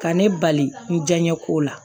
Ka ne bali n jɛnɲɛ kow la